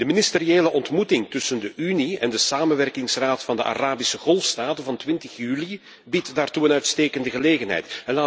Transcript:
De ministeriële ontmoeting tussen de Unie en de samenwerkingsraad van de Arabische Golfstaten van 20 juli biedt daartoe een uitstekende gelegenheid.